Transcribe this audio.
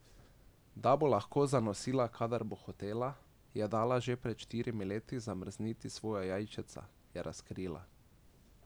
Da bo lahko zanosila kadar bo hotela, je dala že pred štirimi leti zamrzniti svoja jajčeca, je razkrila.